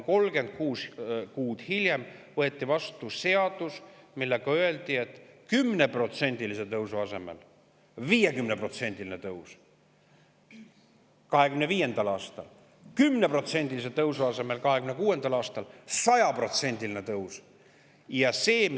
36 kuud hiljem võeti vastu seadus, milles öeldi, et 10%‑lise tõusu asemel on 50%‑line tõus 2025. aastal ja 10%-lise tõusu asemel on 100%-line tõus 2026. aastal.